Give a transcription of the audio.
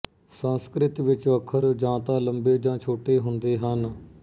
ਸੰਸਕ੍ਰਿਤ ਵਿੱਚ ਅੱਖਰ ਜਾਂ ਤਾਂ ਲੰਬੇ ਜਾਂ ਛੋਟੇ ਹੁੰਦੇ ਹਨ